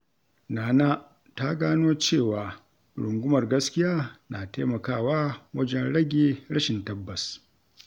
Nana ta gano cewa rungumar gaskiya na taimakawa wajen rage rashin tabbas.